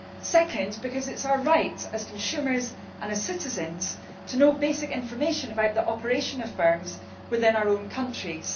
secondly, because it is our right as consumers and as citizens to know basic information about the operations of firms within our own countries